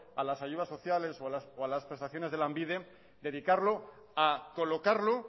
a las ayudas sociales o a las prestaciones de lanbide dedicarlo a colocarlo